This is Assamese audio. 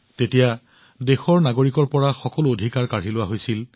ইয়াত দেশৰ নাগৰিকৰ পৰা সকলো অধিকাৰ কাঢ়ি লোৱা হৈছিল